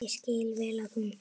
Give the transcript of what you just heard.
Ég skil vel að hún.